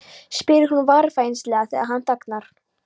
spyr hún varfærnislega þegar hann þagnar.